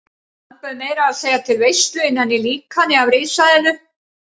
Hann bauð meira að segja til veislu innan í líkani af risaeðlu.